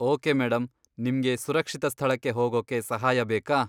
Okay madam, ನಿಮ್ಗೆ ಸುರಕ್ಷಿತ ಸ್ಥಳಕ್ಕೆ ಹೋಗೋಕೆ ಸಹಾಯ ಬೇಕಾ?